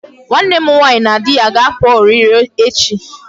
Nwanne m nwaanyi na di ya ga-apụ ọrịrị echi